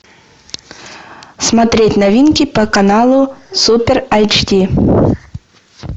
смотреть новинки по каналу супер эйч ди